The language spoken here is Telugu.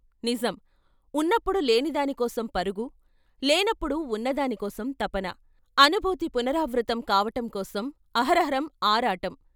నిజం ! ఉన్నప్పుడు లేనిదాని కోసం పరుగు, లేనప్పుడు ఉన్నదాని కోసం తపన. అనుభూతి పునరావృత్తం కావటంకోసం అహరహం, ఆరాటం.